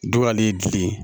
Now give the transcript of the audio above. Dugalen ye gili ye